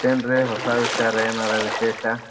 ಮತ್ತೆನ್ರೀ ಹೊಸಾ ವಿಚಾರಾ ಎನಾರಾ ವಿಶೇಷಾ?